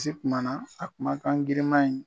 Bilisi kumana a kuma kan giriman ɲi.